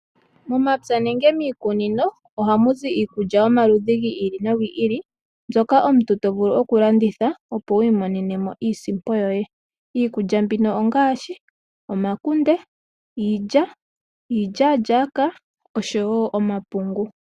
Momapya nenge miikunino, ohamu zi iikulya yomaludhi gi ili nogi ili, mbyoka omuntu to vulu oku landitha opo wu imonene iinsimpo yoye. Iikulya mbino ongaashi omakunde, iilya, iilyalyaka oshowo omapungu.